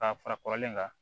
K'a fara kɔrɔlen kan